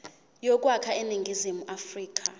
yokwakha iningizimu afrika